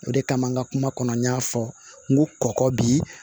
O de kama n ka kuma kɔnɔ n y'a fɔ n ko kɔkɔ bi